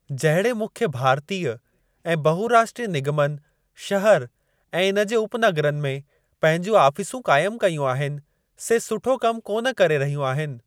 जहिड़े मुख्य भारतीय ऐं बहुराष्ट्रीय निगमनि शहर ऐं इन जे उपनगरनि में पंहिंजूं आफिसूं काइम कयूं आहिनि से सुठो कम कोन करे रहियूं आहिनि।